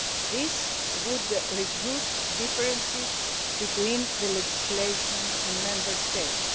This would reduce differences between the legislation in Member States.